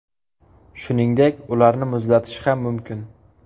Shuningdek, ularni muzlatish ham mumkin.